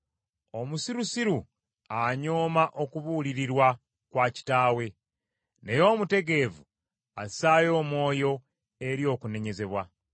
Omusirusiru anyooma okubuulirirwa kwa kitaawe, naye omutegeevu assaayo omwoyo eri okunenyezebwa.